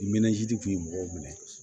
I mɛnazidi kun ye mɔgɔw minɛ